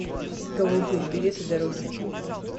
голубые береты дороги